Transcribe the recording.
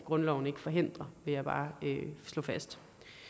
grundloven ikke forhindrer vil jeg bare slå fast